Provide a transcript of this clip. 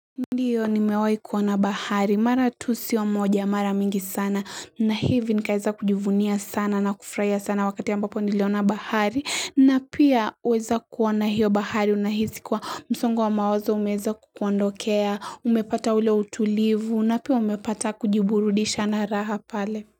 Ndio nimewai kuona bahari mara tu sio moja mara mingi sana na hivi nikaeza kujivunia sana na kufurahia sana wakati ambapo niliona bahari na pia kuweza kuona hiyo bahari unahisi kuwa msongo wa mawazo umeweza kukuondokea, umepata ule utulivu, na pia umepata kujiburudisha na raha pale.